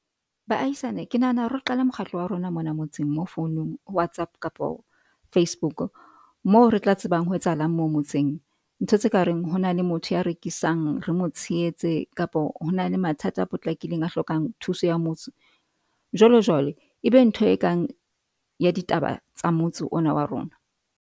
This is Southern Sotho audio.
Baahisane ke nahana hore re qale mokgatlo wa rona mona motseng mo founong WhatsApp kapo Facebook moo re tla tsebang ho etsahalang mo motseng. Ntho tse kareng ho na le motho ya rekisang re mo tshehetse kapo. Hona le mathata a potlakileng a hlokang thuso ya motso. Jwalo jwale ebe ntho e kang ya ditaba tsa motso ona wa rona.